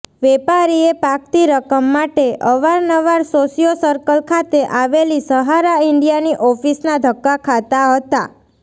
વેપારીએ પાકતી રકમ માટે અવારનવાર સોશિયો સર્કલ ખાતે આવેલી સહારા ઇન્ડીયાની ઓફિસના ધક્કા ખાતા હતા